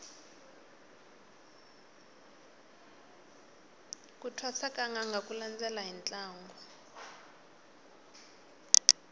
ku thwasa ka nanga ku landela hi ntlangu